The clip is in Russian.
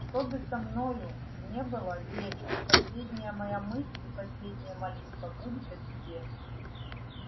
что бы со мною не было верь что последняя моя мысль и последняя молитва будет о тебе